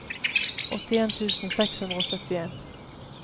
åttien tusen seks hundre og syttien